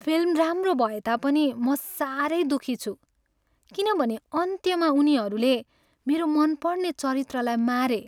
Film राम्रो भएता पनि म साह्रै दुःखी छु किनभने अन्त्यमा उनीहरूले मेरो मनपर्ने चरित्रलाई मारे।